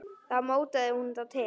Þá mótaði hún þá til.